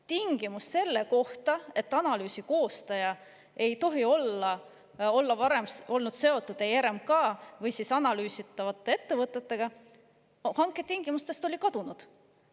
Tingimus selle kohta, et analüüsi koostaja ei tohi olla varem olnud seotud ei RMK ega analüüsitavate ettevõtetega, oli hanketingimustest kadunud.